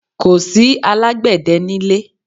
Kò sì alágbẹ̀dẹ nílé.